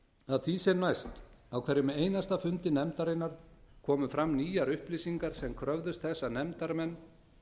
að því sem næst á hverjum einasta fundi nefndarinnar komu fram nýjar upplýsingar sem kröfðust þess að nefndarmenn